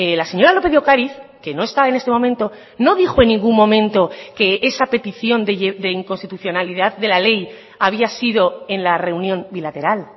la señora lópez de ocariz que no está en este momento no dijo en ningún momento que esa petición de inconstitucionalidad de la ley había sido en la reunión bilateral